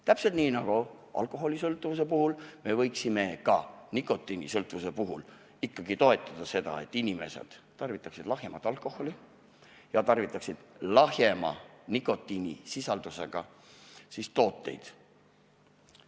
Täpselt nii nagu alkoholisõltuvuse puhul, võiksime ka nikotiinisõltuvuse puhul toetada ikkagi seda, et inimesed tarvitaksid väiksema nikotiinisisaldusega tooteid.